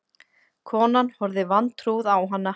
Konan horfði vantrúuð á hana.